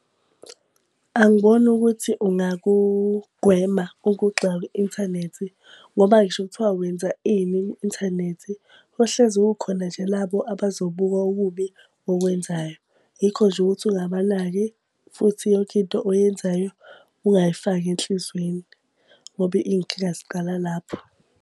Angiboni ukuthi ungakugwema ukugxekwa kwi-inthanethi ngoba ngisho kuthiwa wenza ini kwi-inthanethi kohlezi kukhona nje labo abazobuka okubi okwenzayo. Yikho nje ukuthi ungabanaki, futhi yonke into oyenzayo ungayifaki enhlizweni. Ngoba iy'nkinga ziqala lapho.